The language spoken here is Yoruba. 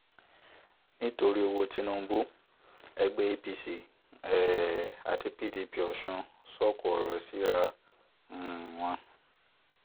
nítorí owó tinubu ẹgbẹ́ apc um àti pdp ọ̀sún sọ̀kò ọ̀rọ̀ síra um wọn